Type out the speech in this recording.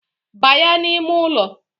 Banya n’ime ụlọ